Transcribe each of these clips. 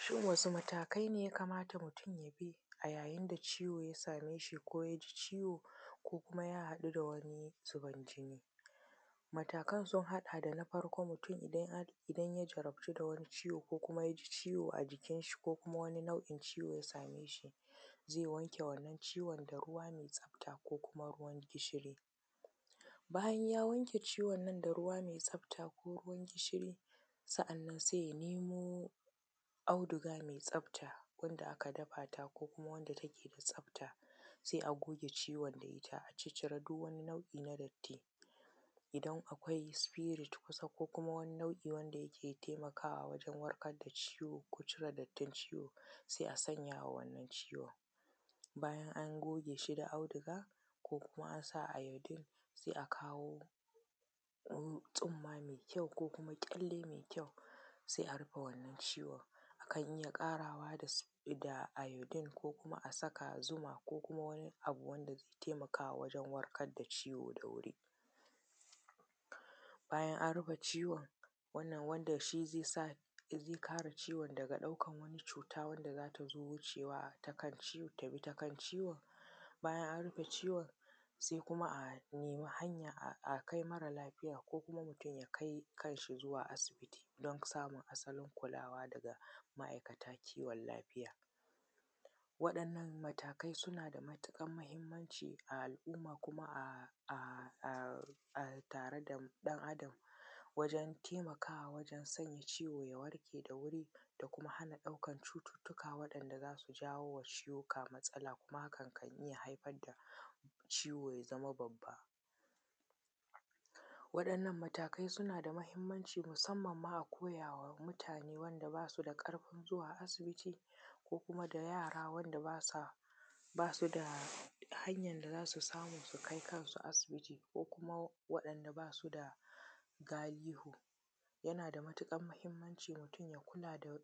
Shin wasu matakai ne mutum ya kamata ya bi a yayin da ciwo ya same shi ko yaji ciwo ko kuma ya haɗu dawani zuban jini? matakan sun haɗa da, na farko idan mutum idan ya jarabtu da wani ciwo ko kuma yaji ciwo ajikin shi ko kuma wani nau’in ciwo ya same shi, zai wanke wannan ciwon ne da ruwa mai tsafta ko kumaruwan gishiri, bayan ya wanke ciwon nan da ruwa mai tsafta ko ruwan gishiri, sannan sai ya nemo auduga mai tsafta wanda aka dafa ta ko kuma wanda take da tsafta sai a goge ciwon da ita a cire duk wani nau’i na datti, idan akwai spirit kusa ko kuma wani nau’i wanda yake taimakawa wajen warkar da ciwo ko cire dattin ciwo sai a sanya a wannan ciwon, bayan an goge shi da auduga ko kuma an sa iodine sai a kawo tsumma mai kyau ko kuma ƙyalle mai kyau sai a rufe wannan ciwon akan iya ƙarawa da iodine ko kuma a saka zuma ko kuma wani abu wanda zai taimaka wajen warkar da ciwo da wuri, bayan an rufe ciwon wannan wanda shi zai sa ya kare ciwon daga ɗaukan wata cuta wanda zata zo wucewa ta kan ciwon, bayan an rufe ciwon sai kuma a nemi hanya a kai mara lafiya ko kuma mutum ya kai kan shi zuwa asibiti don samun asalin kulawa daga ma’aikata kiwon lafiya. Waɗannan matakai suna da matuƙar muhimmanci a al’umma kuma a tare da ɗan adam wajen taimakawa wajen sanya ciwo ya warke da wuri da kuma hana cututtuka da zasu jawowa cututtuka matsala, kuma hakan kan iya haifar da ciwo ya zama babba, waɗannan matakai suna da muhimmanci musamman ma a koyawa mutane waɗanda basu da ƙarfin zuwa asibiti ko kuma da yara wanda basu da hanyar da zasu samu su kai kan su asibiti ko kuma waɗanda basu da galihu, yana da matuƙar muhimmanci mutum ya kula da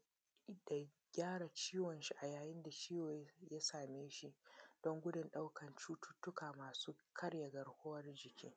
gyara ciwon shi a yayin da ciwo ya same shi don gudun ɗaukar cututtuka masu karya garkuwan jiki.